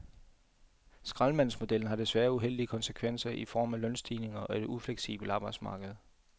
Skraldemandsmodellen har desværre uheldige konsekvenser i form af lønstigninger og et ufleksibelt arbejdsmarked.